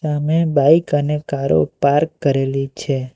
સામે બાઈક અને કારો પાર્ક કરેલી છે.